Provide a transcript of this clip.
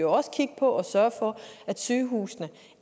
også kigge på og sørge for at sygehusene